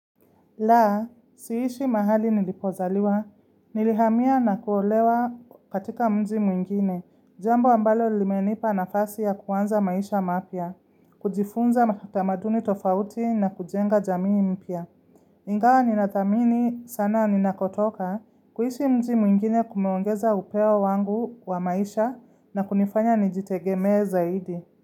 La, siishi mahali nilipozaliwa, nilihamia na kuolewa katika mji mwingine, jambo ambalo limenipa nafasi ya kuanza maisha mapya, kujifunza matamaduni tofauti na kujenga jamii mpya. Ingawa ninathamini sana ninakotoka kuishi mji mwingine kumeongeza upeo wangu wa maisha na kunifanya nijitegemee zaidi.